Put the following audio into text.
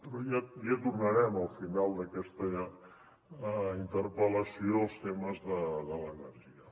però ja tornarem al final d’aquesta interpel·lació als temes de l’energia